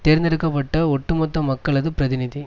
தேர்ந்தெடுக்க பட்ட ஒட்டு மொத்த மக்களது பிரதிநிதி